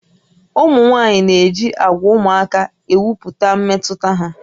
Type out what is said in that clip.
Ụmụ nwaanyị na-eji àgwà ụmụaka ekwupụta mmetụta ha